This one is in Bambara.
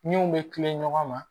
Min bɛ tila ɲɔgɔn ma